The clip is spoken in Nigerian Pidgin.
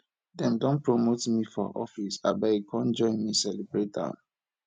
dem don promote me for office abeg come join me celebrate am